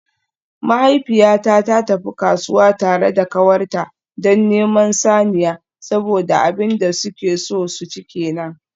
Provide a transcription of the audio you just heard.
Mahaifiyata ta tafi kasuwa tare da kawarta don neman saniya saboda abin da suke so su ci kenan.